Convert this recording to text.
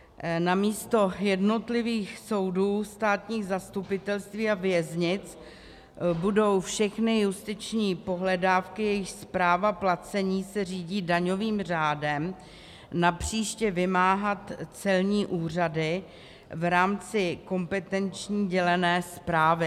Namísto jednotlivých soudů, státních zastupitelství a věznic budou všechny justiční pohledávky, jejichž správa placení se řídí daňovým řádem, napříště vymáhat celní úřady v rámci kompetenční dělené správy.